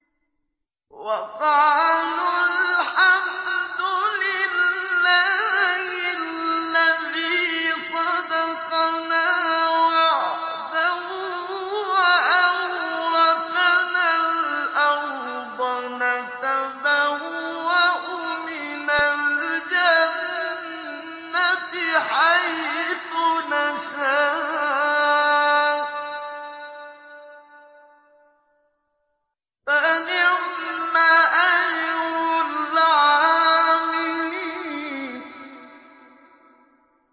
وَقَالُوا الْحَمْدُ لِلَّهِ الَّذِي صَدَقَنَا وَعْدَهُ وَأَوْرَثَنَا الْأَرْضَ نَتَبَوَّأُ مِنَ الْجَنَّةِ حَيْثُ نَشَاءُ ۖ فَنِعْمَ أَجْرُ الْعَامِلِينَ